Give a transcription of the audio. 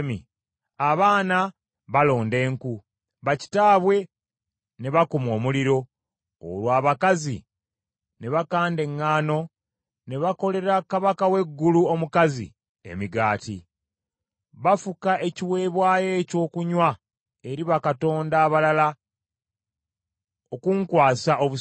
Abaana balonda enku, bakitaabwe ne bakuma omuliro, olwo abakazi ne bakanda eŋŋaano ne bakolera kabaka w’eggulu omukazi emigaati. Bafuka ekiweebwayo ekyokunywa eri bakatonda abalala okunkwasa obusungu.